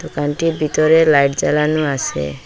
দোকানটির ভিতরে লাইট জ্বালানো আসে।